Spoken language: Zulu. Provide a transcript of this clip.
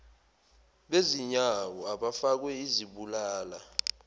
bezinyawo abafakwe izibulala